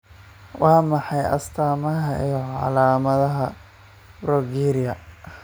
Waa maxay astaamaha iyo calaamadaha Progeria?